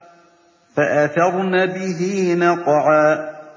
فَأَثَرْنَ بِهِ نَقْعًا